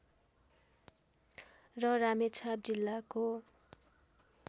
र रामेछाप जिल्लाको